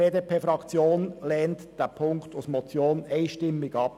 Die BDP-Fraktion lehnt den Punkt 2 als Motion einstimmig ab.